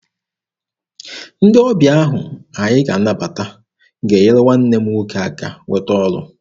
Ndị ọbịa ahụ anyị ga-anabata ga-enyere nwanne m nwoke aka nweta ọrụ.